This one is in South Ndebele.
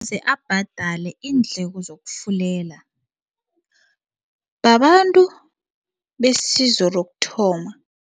abhadale iindleko zokufulela babantu besizo lokuthoma.